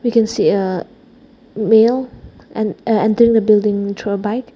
we can see a male and a aa entering building through a bike.